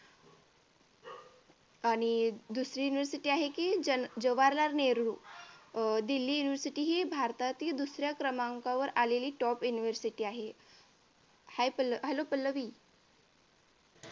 आणि दुसरी university आहे ती जवाहरलाल नेहरू अह दिल्ली university हि भारतातील दुसऱ्या क्रमांकावर आलेली top university आहे. hi Pallavi hello Pallavi